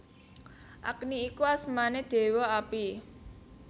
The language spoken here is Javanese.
Agni iku asmané Déwa Api